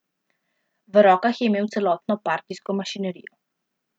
V rokah je imel celotno partijsko mašinerijo.